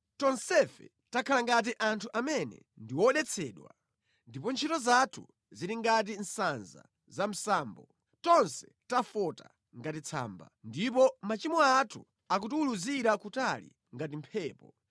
Tonsefe takhala ngati anthu amene ndi odetsedwa, ndipo ntchito zathu zili ngati sanza za msambo; tonse tafota ngati tsamba, ndipo machimo athu akutiwuluzira kutali ngati mphepo.